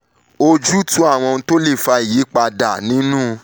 ojútùú àwọn ohun tó lè fa ìyípadà nínú lft lè wà nídìí ọ̀pọ̀ nǹkan